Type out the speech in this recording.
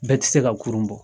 Bɛɛ ti se ka kurun bɔ.